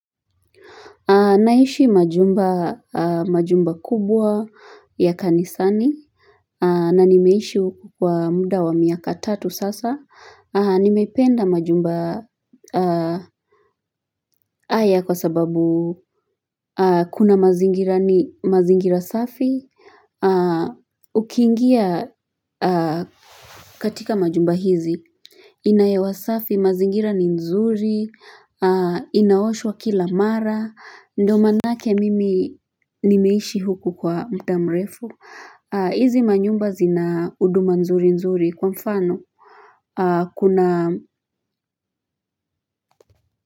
Naishi majumba kubwa ya kanisani, na nimeishi huku kwa muda wa miaka tatu sasa Nimependa majumba haya kwa sababu kuna mazingira safi Ukingia katika majumba haya, yana hewa safi, mazingira ni nzuri, yanaoshwa kila mara, ndio maanake mimi nimeishi huku kwa muda mrefu, hizi manyumba yana huduma nzuri nzuri kwa mfano, kuna.